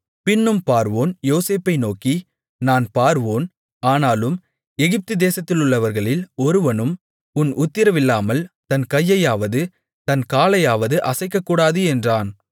பின்னும் பார்வோன் யோசேப்பை நோக்கி நான் பார்வோன் ஆனாலும் எகிப்துதேசத்திலுள்ளவர்களில் ஒருவனும் உன் உத்திரவில்லாமல் தன் கையையாவது தன் காலையாவது அசைக்கக்கூடாது என்றான்